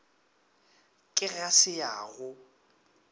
ke ga se ya go